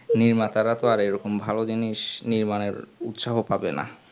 নির্মাতারা তো আর এরকম ভালো জিনিস নির্মাণের উৎসাহ যাবে না